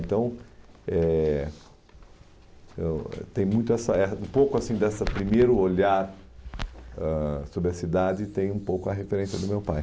Então, eh eu tem muito essa eh, um pouco assim, desse primeiro olhar ãh sobre a cidade, tem um pouco a referência do meu pai.